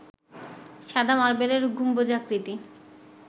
সাদা মার্বেলের গম্বুজাকৃতি